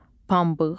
Pambıq.